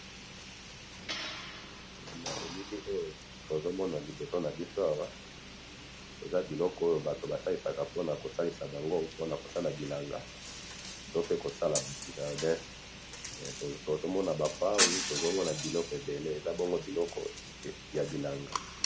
Na elili Oyo tozomona liboso ya biso awa eza biloko oyo bato Bato basilishaka pona kosalisa bango pona kosala bilanga to pe kosala jardin. Tozomona ba Pau, tozomona biloko ebele. Eza bongo biloko ya bilanga